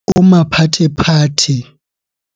O maphathephathe.